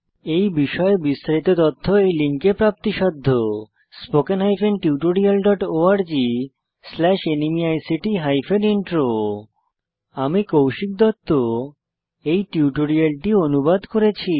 এই বিষয়ে বিস্তারিত তথ্য এই লিঙ্কে প্রাপ্তিসাধ্য spoken hyphen tutorial dot org slash NMEICT hyphen intro আমি কৌশিক দত্ত এই টিউটোরিয়ালটি অনুবাদ করেছি